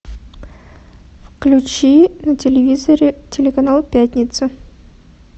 включи на телевизоре телеканал пятница